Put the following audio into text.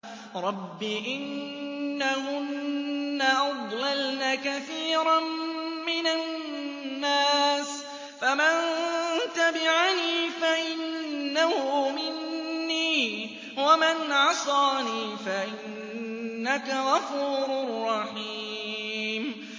رَبِّ إِنَّهُنَّ أَضْلَلْنَ كَثِيرًا مِّنَ النَّاسِ ۖ فَمَن تَبِعَنِي فَإِنَّهُ مِنِّي ۖ وَمَنْ عَصَانِي فَإِنَّكَ غَفُورٌ رَّحِيمٌ